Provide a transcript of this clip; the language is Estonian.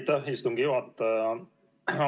Aitäh, istungi juhataja!